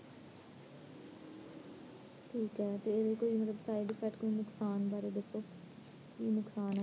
ਠੀਕ ਹੈ ਤੇ ਇਹਦੇ ਕੋਈ side-effect ਜਾ ਨੁਕਸਾਨ ਬਾਰੇ ਦੱਸੋ ਕੀ ਨੁਕਸਾਨ ਨੇ